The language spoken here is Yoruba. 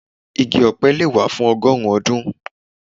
igi ọpẹ le wa fun ọgọrun ọdun.